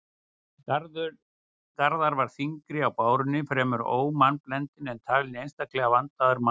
Garðar var þyngri á bárunni, fremur ómannblendinn, en talinn einstaklega vandaður maður.